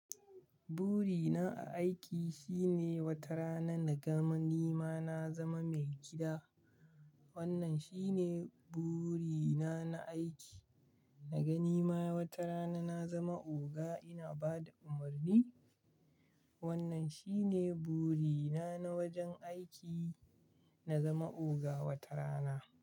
Burina a aiki shine wata rana na ga ni ma na zama mai gida. Wannan shine burina na aiki. Na ga ni ma wata rana na zama oga ina ba da umarni. Wannan shi ne burina na wajen aiki, na zama oga wata rana.